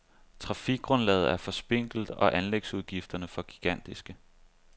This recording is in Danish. Trafikgrundlaget er for spinkelt og anlægsudgifterne for gigantiske.